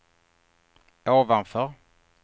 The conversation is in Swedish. ovanför